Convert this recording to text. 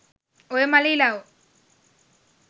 ඔය මළ ඉලව්